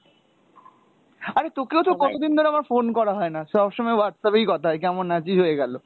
আরে তোকেও তো কতদিন ধরে আমার phone করা হয়না সবসময় WhatsApp এই কথা হয় কেমন আছি হয়ে গেলো।